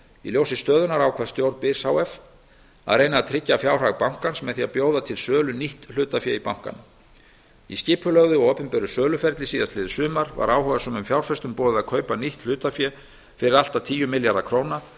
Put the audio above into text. í ljósi stöðunnar ákvað stjórn byrs h f að reyna að tryggja fjárhag bankans með því að bjóða til sölu nýtt hlutafé í bankanum í skipulögðu og opinberu söluferli í fyrrasumar var áhugasömum fjárfestum boðið að kaupa nýtt hlutafé fyrir allt að tíu milljarða króna